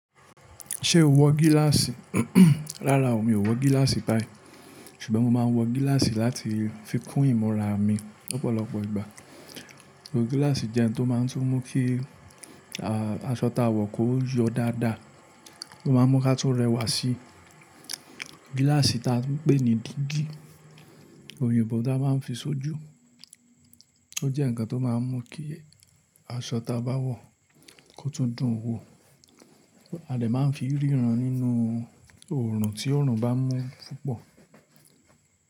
Ṣé o wọ gíláàsì? Rárá o, mi ò wọ gíláàsì báyìí ṣùgbọ́n mo máa ń wọ gíláàsì láti fi kún ìmúra mi lọ́pọ̀lọpọ̀ ìgbà. Gíláàsì jẹ́ ohun tó máa ń tún mú kí aṣọ tá a wọ̀ kó yọ dáadáa, ó máa ń mú kí a tó rẹwà sí. Gíláàsì ta fi ń pè ní dígí, oyinbo ta máa ń fi ṣojú. Ó jẹ́ ǹkan tó máa ń mú kí aṣọ ta bá wọ̀ kó tún dùn wo. A dè máa ń fi ríran nínú oorun tí oorun bá mú púpọ̀.